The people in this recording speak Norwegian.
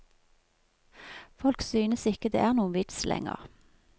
Folk synes ikke det er noen vits lenger.